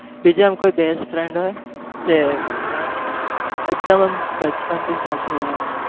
બીજો આમ કોઈ best friend હોય જે એકદમ આમ બચપન થી સાથે હોય